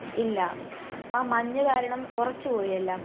ഇല്ല. മഞ്ഞ് കാരണം ഉറച്ച് പോയി എല്ലാം.